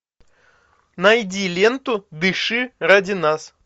найди ленту дыши ради нас